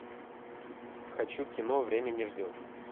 хочу кино время не ждет